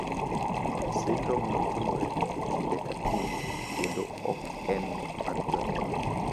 Sindromno timore e kinde ka kinde kendo ok en mar jonyuol.